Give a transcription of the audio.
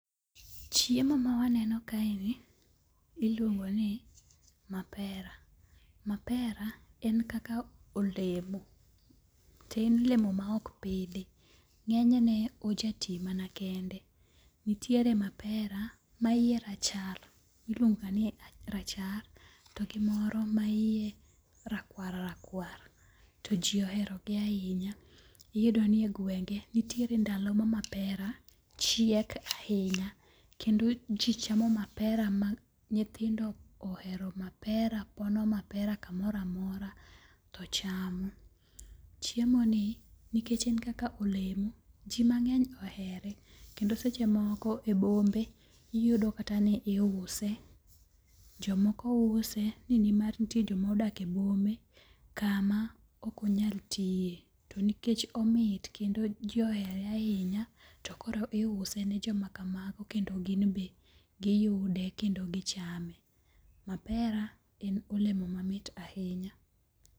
Chiemo ma waneno kae ni iluong'o ni mapera. Mapera en kaka olemo. To en olemo ma ok pidhi. Ng'enyne oja ti mana kende. Nitie mapera ma yie rachar. Iluongo ni rachar. To gi moro ma yie rakwar rakwar, To ji ohero gi ahinya. Iyudo ni egwenge, nitiere ndalo ma mapera chiek ahinya kendo ji chamo mapera ma nyithindo ohero mapera pono mapera kamoro amora to chamo. Chiemo ni nikech en kaka olemo, ji mang'eny ohere. Kendo seche moko e bombe, iyudo kata ni iuse. Jomoko use ni nimar nitie jomodak e bombe kama ok onyal tiye. Tonikech omit kendo ji ohere ahinya to koro iuso ne jomakamago kendo gin be giyude kendo gichame. Mapera en olemo mamit ahinya.